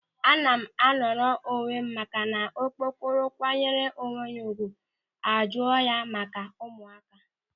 Ana m anọrọ onwe m maka na okokporo kwanyere onwe ya ùgwù a jụọ ya maka ụmụaka.